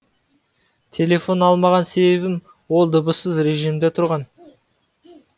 телефон алмаған себебім ол дыбыссыз режимде тұрған